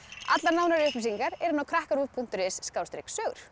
allar nánari upplýsingar eru inni á krakkaruv punktur is